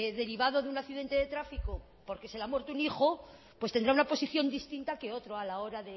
derivado de un accidente de tráfico porque se le ha muerto un hijo pues tendrá una posición distinta que otro a la hora